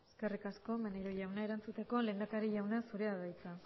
eskerrik asko maneiro jauna erantzuteko lehendakari jauna zurea da hitza